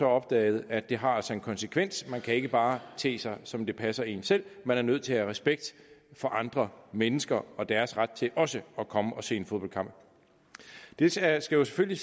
opdaget at det altså har en konsekvens man kan ikke bare te sig som det passer en selv man er nødt til at have respekt for andre mennesker og deres ret til også at komme og se en fodboldkamp det skal selvfølgelig